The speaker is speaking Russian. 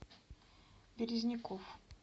березников